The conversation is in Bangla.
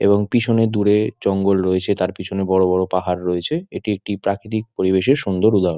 এবং পিছনে দূরে জঙ্গল রয়েছে তার পেছনে বড়ো বড়ো পাহাড় রয়েছে। এটি একটি প্রাকৃতিক পরিবেশের সুন্দর উদাহরণ।